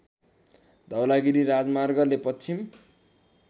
धवलागिरी राजमार्गले पश्चिम